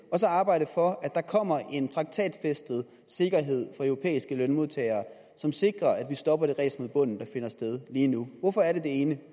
så arbejde for at der kommer en traktatfæstet sikkerhed for europæiske lønmodtagere som sikrer at vi stopper det ræs mod bunden der finder sted lige nu hvorfor er det det ene